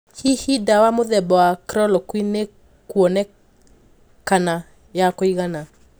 Hihi dawa mũthemba wa chloroquine niikuonekana ya kũigana?